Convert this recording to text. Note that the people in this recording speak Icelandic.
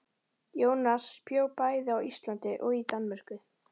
Jónas bjó bæði á Íslandi og í Danmörku.